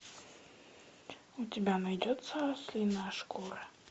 у тебя найдется ослиная шкура